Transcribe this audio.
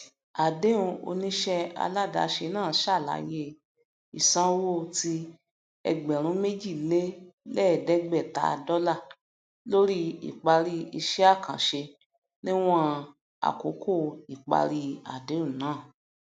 adéhùn oníṣẹ aládàáse náà ṣàlàyé ìsanwó ti ẹgbẹrúnméji lé lẹẹdẹgbẹta dólà lórí ipari iṣẹ àkànṣe níwọn àkókò ipari adéhùn náà